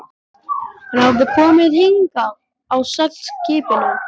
Hann hafði komið hingað á seglskipinu Stein